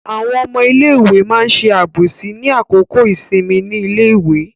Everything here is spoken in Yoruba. Àwọn ọmọ iléèwé ma ṣe àbòsí ní àkókò ìsinmi ní iléèwé.